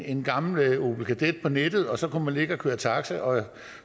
en gammel opel kadett på nettet og så kunne man ligge og køre taxi og